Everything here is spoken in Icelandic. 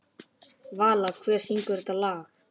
Vala, hver syngur þetta lag?